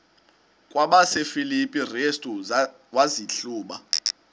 kwabasefilipi restu wazihluba